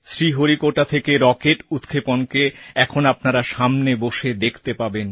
শ্রীহরিকোটা থেকে রকেট উৎক্ষেপণকে এখন আপনারা সামনে বসে দেখতে পাবেন